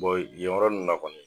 Bɔn yen yɔrɔ nunnu na kɔni